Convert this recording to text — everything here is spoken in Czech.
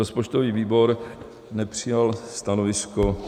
Rozpočtový výbor nepřijal stanovisko.